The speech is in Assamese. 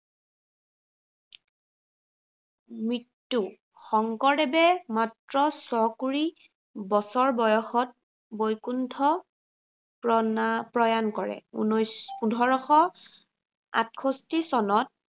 মৃত্য়ু, শংকৰদেৱে মাত্ৰ ছ কুৰি বছৰ বয়সত বৈকুণ্ঠ প্ৰনাম প্ৰয়াণ কৰে। পোন্ধৰশ আঠষষ্ঠি চনত